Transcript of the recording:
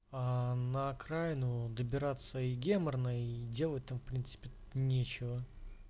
а на окраину добираться и геморно и делать там в принципе нечего